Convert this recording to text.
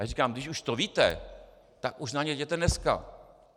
Já říkám: "Když už to víte, tak už na ně jděte dneska!